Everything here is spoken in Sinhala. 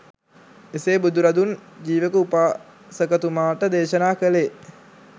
එසේ බුදුරදුන් ජීවක උපාසකතුමාට දේශනා කෙළේ